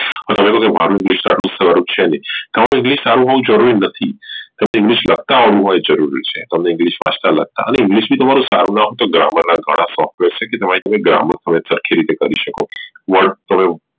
સ્વરૂપ છે ને જરૂરી નથી તમને english લખતા આવડવું એ જરૂરી છે અને english વાંચતા લખતા હવે english પણ તમારું સારું ના હોઈ તો Grammar લખવાના તમે grammar તમે સરખી રીતે કરી શકો